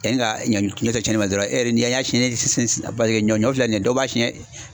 yanni ka ɲɔ se tiɲɛni ma dɔrɔn e yɛrɛ n'i y'a siɲɛ ɲɔ filɛ nin ye dɔ b'a siɲɛ